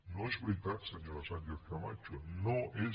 no és veritat senyora sánchez camacho no és